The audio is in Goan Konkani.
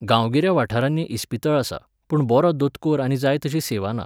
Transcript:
गांवगिऱ्या वाठारांनी इस्पितळ आसा, पूण बरो दोतोर आनी जाय तशी सेवा ना